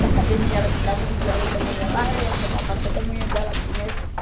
Da academia, ela chegava onze horas da manhã lá, ela ia tomar o café da manhã dela primeiro.